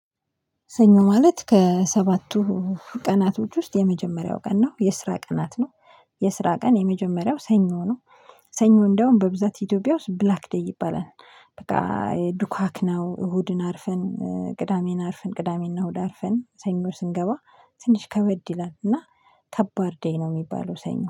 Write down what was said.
ሰኞ ማለት ከሰባቱ ቀናቶች ውስጥ የመጀመሪያው ቀን ነው። የስራ ቀናት ነው። የስራ ቀን የመጀመሪያው ሰኞ ነው። ሰኞ እንደውም በብዛት ኢትዮጵያ ውስጥ ብላክ ዴይ ይባላል በቃ ዱካክ ነው እሁድን አርፈን ቅዳሜን አርፈን ቅዳሜና እሁድ አርፈን ሰኞ ስንገባ ትንሽ ከበድ ይላል። እና ከባድ ደይ ነው የሚባለው ሰኞ